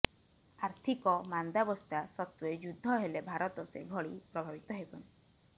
ଆର୍ଥିକ ମାନ୍ଦାବସ୍ଥା ସତ୍ତ୍ୱେ ଯୁଦ୍ଧ ହେଲେ ଭାରତ ସେଭଳି ପ୍ରଭାବିତ ହେବନି